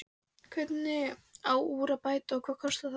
Hvernig á úr að bæta og hvað kostar það?